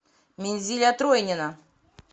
минзиля тройнина